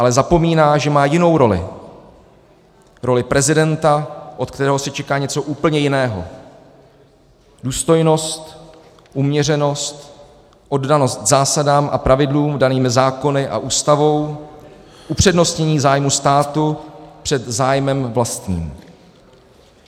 Ale zapomíná, že má jinou roli, roli prezidenta, od kterého se čeká něco úplně jiného: důstojnost, uměřenost, oddanost zásadám a pravidlům daným zákony a Ústavou, upřednostnění zájmu státu před zájmem vlastním.